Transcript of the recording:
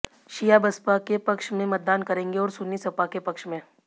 शिया बसपा के पक्ष में मतदान करेंगे और सुन्नी सपा के पक्ष में